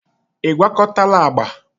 ị gwakọtala agba?